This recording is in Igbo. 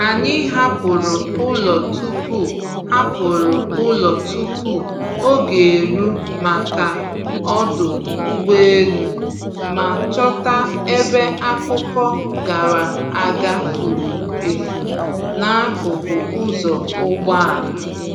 Anyị hapụrụ ụlọ tupu hapụrụ ụlọ tupu oge eru maka ọdụ ụgbọelu, ma chọta ebe akụkọ gara aga furu efu n’akụkụ ụzọ ụgbọala.